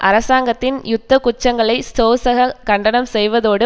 அரசாங்கத்தின் யுத்த குற்றங்களை சோசக கண்டனம் செய்வதோடு